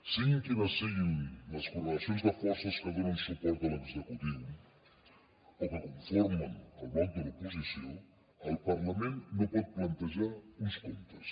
siguin quines siguin les correlacions de forces que donen suport a l’executiu o que conformen el bloc de l’oposició el parlament no pot plantejar uns comptes